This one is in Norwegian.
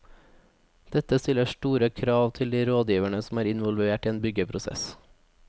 Dette stiller store krav til de rådgiverne som er involvert i en byggeprosess.